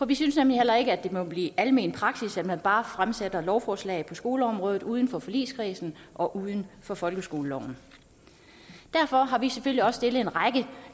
vi synes heller ikke at det må blive almen praksis at man bare fremsætter lovforslag på skoleområdet uden for forligskredsen og uden for folkeskoleloven derfor har vi selvfølgelig også stillet en række